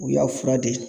U y'a fura de ye